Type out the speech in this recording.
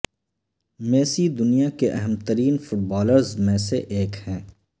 Messi دنیا کے اہم ترین فٹ بالرز میں سے ایک ہیں